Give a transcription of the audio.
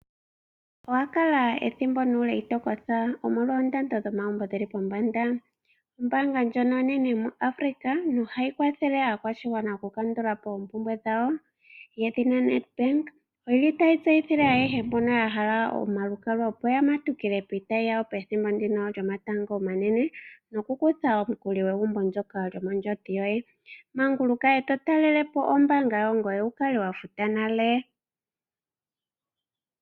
Owa kala ethimbo nuule iti kootha, omolwa oondando dhomagumbo dhi li pombanda? Ombaanga ndjono onene muAfrica nohayi kwathele aakwashigwana okukandula po oompumbwe dhawo, yedhina Nedbank otayi tseyithile ayehe mbono ya hala omalukalwa, opo ya matukile piitayi yawo pethimbo ndino lyomatango omanene nokukutha omukuli gwegumbo ndyoka lyondjodhi yoye. Manguluka e to talele po ombaanga yawo, opo wu kale wa futa nale.